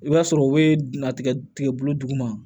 I b'a sɔrɔ u bɛ dɛntigɛ bolo duguma